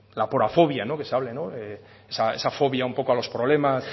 la aporafobia esa fobia un poco a los problemas